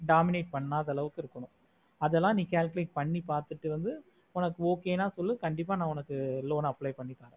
dominate பண்ணாத அளவுக்கு இருக்கணும் அதல நீ calculate பண்ணி பாத்துட்டு வந்து உனக்கு okay ந சொல்லு கண்டிப்பா ந உனக்கு loan apply பண்ணி தர